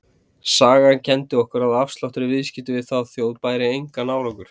Sagan kenndi okkur að afsláttur í viðskiptum við þá þjóð bæri engan árangur.